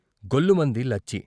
" గొల్లుమంది లచ్చి.